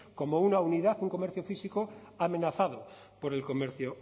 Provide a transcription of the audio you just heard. como una unidad un comercio físico amenazado por el comercio